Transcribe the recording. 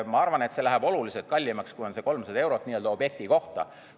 Ma arvan, et see läheb oluliselt kallimaks kui 300 eurot objekti kohta.